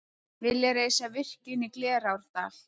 Vilja reisa virkjun í Glerárdal